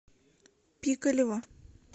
пикалево